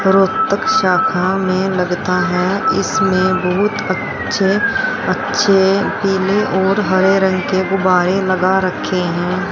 में लगता है इसमें बहुत अच्छे अच्छे पीले और हरे रंग के गुब्बारे लगा रखे हैं।